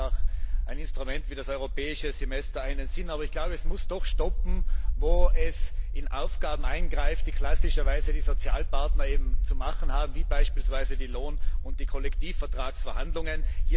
Deshalb hat auch ein Instrument wie das Europäische Semester einen Sinn. Es muss jedoch dort enden, wo es in Aufgaben eingreift, die klassischerweise die Sozialpartner zu erfüllen haben, wie beispielsweise die Lohn und die Kollektivvertragsverhandlungen.